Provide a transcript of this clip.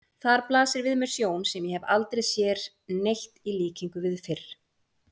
Þar blasir við mér sjón sem ég hef aldrei sér neitt í líkingu við fyrr.